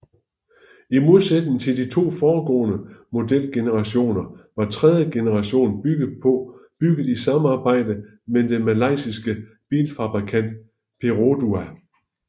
I modsætning til de to foregående modelgenerationer var tredje generation bygget i samarbejde med den malaysiske bilfabrikant Perodua